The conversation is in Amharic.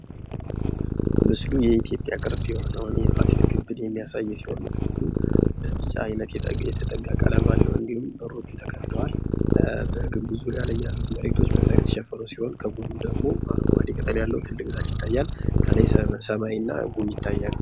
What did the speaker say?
ምስሉ የኢትዮጵያ ቅርስ የሆነውን የፋሲል ግንብን የሚያሳይ ሲሆን ይህ ግንብም ወደ ቢጫነት የተጠጋ ቀለም አለው እንድሁም በሮቹ ተከፍተዋል። በግንቡ ዙሪያ ላይ ያሉት ምስሎች የተሸፈነ ሲሆን ከጎኑ ደግሞ አረንጓዴ ቅጠል ያለው ትልቅ ዛፍ ይታያል። ከላይ ሰማይና ጉም ይታያል።